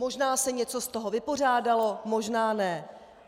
Možná se něco z toho vypořádalo, možná ne.